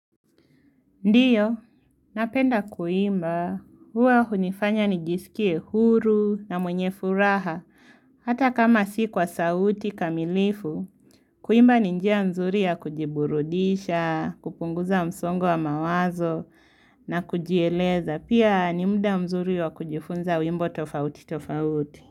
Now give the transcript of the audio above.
Ndiyo, napenda kuimba, huwa hunifanya nijisikie huru na mwenye furaha, hata kama si kwa sauti kamilifu. Kuimba ni njia nzuri ya kujiburudisha, kupunguza msongo wa mawazo na kujieleza, pia ni mda mzuri wa kujifunza wimbo tofauti tofauti.